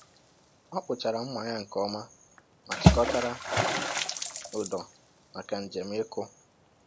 Ọ kpụchara mma ya nke ọma ma chịkọtara ụdọ maka njem ịkụ.